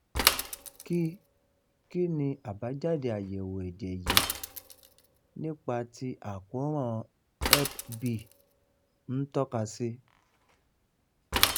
kí kí ni àbájáde ayewo ẹ̀jẹ̀ yìí nípa ti àkoran hep b n toka si?